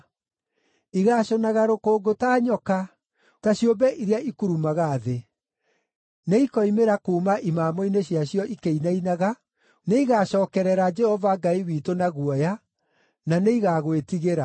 Igaacũnaga rũkũngũ ta nyoka, ta ciũmbe iria ikurumaga thĩ. Nĩikoimĩra kuuma imamo-inĩ ciacio ikĩinainaga; nĩigacookerere Jehova Ngai witũ na guoya, na nĩigagwĩtigĩra.